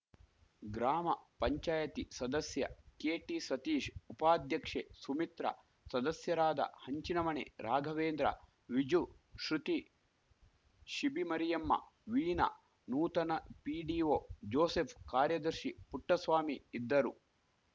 ಗ್ರಾಮ ಪಂಚಾಯಿತಿ ಸದಸ್ಯ ಕೆಟಿ ಸತೀಶ್‌ ಉಪಾಧ್ಯಕ್ಷೆ ಸುಮಿತ್ರ ಸದಸ್ಯರಾದ ಹಂಚಿಣಮಣೆ ರಾಘವೇಂದ್ರ ವಿಜು ಶೃತಿ ಶಿಬಿಮರಿಯಮ್ಮ ವೀಣಾ ನೂತನ ಪಿಡಿಒ ಜೋಸೆಫ್‌ ಕಾರ್ಯದರ್ಶಿ ಪುಟ್ಟಸ್ವಾಮಿ ಇದ್ದರು